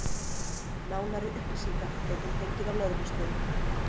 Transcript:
Nánari upplýsingar gæti hún fengið á lögreglustöðinni.